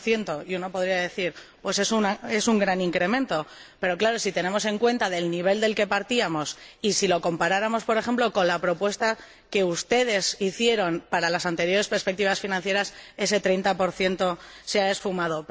30 Uno podría decir que se trata de un gran incremento, pero, claro, si tenemos en cuenta el nivel del que partíamos y si lo comparáramos, por ejemplo, con la propuesta que ustedes hicieron para las anteriores perspectivas financieras, ese 30 se ha esfumado.